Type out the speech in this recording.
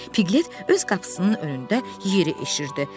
Piqlet öz qapısının önündə yeri eşirdi.